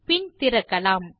பின் திறக்கலாம்